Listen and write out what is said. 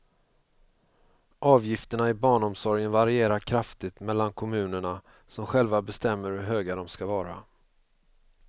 Avgifterna i barnomsorgen varierar kraftigt mellan kommunerna som själva bestämmer hur höga de ska vara.